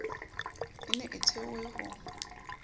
e ne e thehwe ho